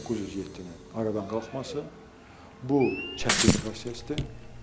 907-nin aradan qalxması bu çətin prosesdir.